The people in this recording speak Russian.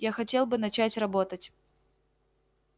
я хотел бы начать работать